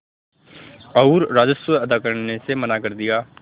और राजस्व अदा करने से मना कर दिया